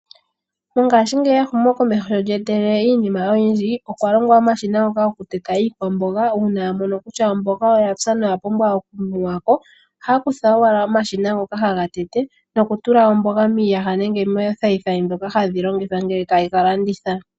Mongashiingeyi ehumo komeho sho lya etelele iinima oyindji, okwa longwa omashina ngoka goku teta iikwamboga uuna yamono kutya omboga oyapya noya pumbwa oku muwa ko, ohaya kutha owala omashina ngoka haga tete noku tula omboga miiyaga nenge moothayithayi dhoka hadhi longithwa ngele tayega landitha.